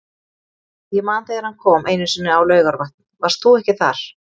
Ég man þegar hann kom einu sinni á Laugarvatn, varst þú ekki þar?